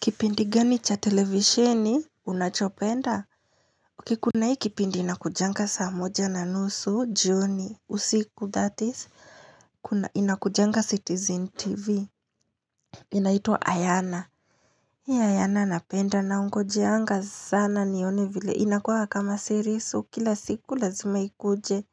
Kipindi gani cha televisheni, unachopenda? Ok, kuna hii kipindi inakujanga saa moja na nusu, juni, usiku, that is, inakujanga Citizen TV. Inaitwa Ayana. Hii Ayana napenda na unakujanga sana nione vile inakua kama series kila siku lazima ikuje.